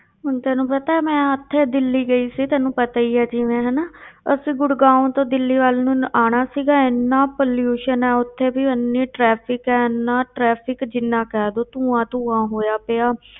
ਹੁਣ ਤੈਨੂੰ ਪਤਾ ਮੈਂ ਉੱਥੇ ਦਿੱਲੀ ਗਈ ਸੀ, ਤੈਨੂੰ ਪਤਾ ਹੀ ਹੈ ਜਿਵੇਂ ਹਨਾ ਅਸੀਂ ਗੁੜਗਾਓਂ ਤੋਂ ਦਿੱਲੀ ਵੱਲ ਨੂੰ ਆਉਣਾ ਸੀਗਾ, ਇੰਨਾ pollution ਹੈ ਉੱਥੇ ਵੀ ਇੰਨੀ traffic ਹੈ ਇੰਨਾ traffic ਜਿੰਨਾ ਕਹਿ ਦਓ ਧੂੰਆ ਧੂੰਆ ਹੋਇਆ ਪਿਆ